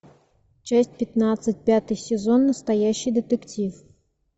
часть пятнадцать пятый сезон настоящий детектив